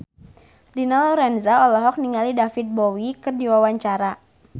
Dina Lorenza olohok ningali David Bowie keur diwawancara